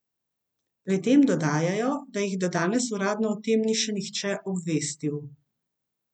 Pri tem dodajajo, da jih do danes uradno o tem ni še nihče obvestil.